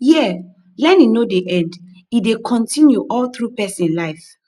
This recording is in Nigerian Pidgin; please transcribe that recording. here learning no dey end e dey continue all through person life